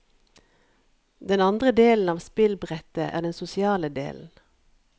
Den andre delen av spillbrettet er den sosiale delen.